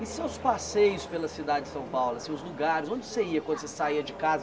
E seus passeios pela cidade de São Paulo, assim os lugares, onde você ia quando saía de casa?